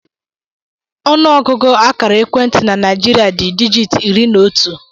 Ọnụọgụgụ akara ekwentị na Naijiria dị dijit iri na otu